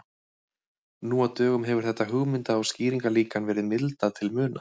Nú á dögum hefur þetta hugmynda- og skýringarlíkan verið mildað til muna.